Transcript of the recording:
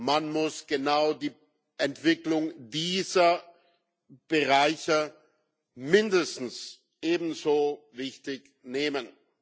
Man muss genau die Entwicklung dieser Bereiche mindestens ebenso wichtig nehmen.